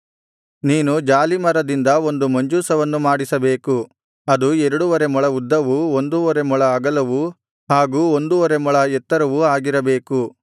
ನೀನು ಜಾಲೀಮರದಿಂದ ಒಂದು ಮಂಜೂಷವನ್ನು ಮಾಡಿಸಬೇಕು ಅದು ಎರಡುವರೆ ಮೊಳ ಉದ್ದವು ಒಂದುವರೆ ಮೊಳ ಅಗಲವು ಹಾಗೂ ಒಂದುವರೆ ಮೊಳ ಎತ್ತರವು ಆಗಿರಬೇಕು